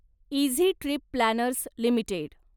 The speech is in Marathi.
easy trip planners limited